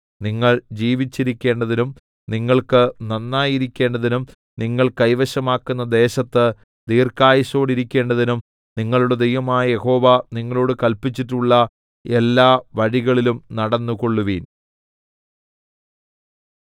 നിങ്ങൾ ജീവിച്ചിരിക്കേണ്ടതിനും നിങ്ങൾക്ക് നന്നായിരിക്കേണ്ടതിനും നിങ്ങൾ കൈവശമാക്കുന്ന ദേശത്ത് ദീർഘായുസ്സോടിരിക്കേണ്ടതിനും നിങ്ങളുടെ ദൈവമായ യഹോവ നിങ്ങളോടു കല്പിച്ചിട്ടുള്ള എല്ലാ വഴികളിലും നടന്നുകൊള്ളുവിൻ